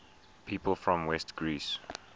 people from west greece